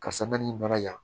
Karisa na nin bana in